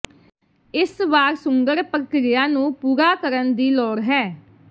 ਇਸ ਵਾਰ ਸੁੰਗੜ ਪ੍ਰਕਿਰਿਆ ਨੂੰ ਪੂਰਾ ਕਰਨ ਦੀ ਲੋੜ ਹੈ